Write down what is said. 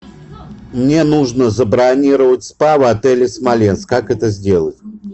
мне нужно забронировать спа в отеле смоленск как это сделать